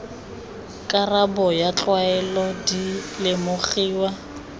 karabo ya tlwaelo di lemogiwa